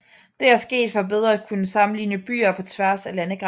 Det er sket for bedre at kunne sammenligne byer på tværs af landegrænser